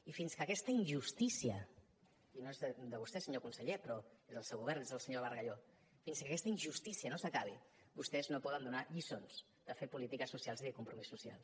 i fins que aquesta injustícia i no és de vostè senyor conseller però és del seu govern és del senyor bargalló no s’acabi vostès no poden donar lliçons de fer polítiques socials i de compromís social